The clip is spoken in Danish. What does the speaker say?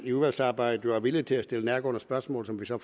i udvalgsarbejdet at være villig til at stille nærgående spørgsmål som vi så